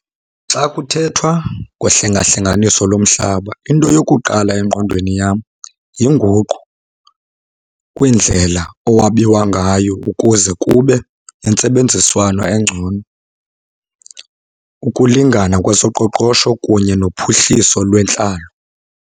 Xa kuthethwa ngohlengahlenganiso lomhlaba into yokuqala engqondweni yam yinguqu kwindlela owabiwa ngayo ukuze kube nentsebenziswano engcono, ukulingana kwezoqoqosho, kunye nophuhliso lwentlalo.